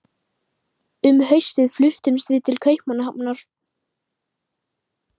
Um haustið fluttumst við til Kaupmannahafnar.